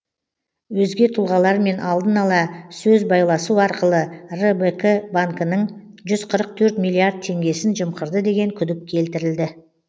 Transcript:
өзге тұлғалармен алдын ала сөз байласу арқылы рбк банкінің жүз қырық төрт миллиард теңгесін жымқырды деген күдік келтірілді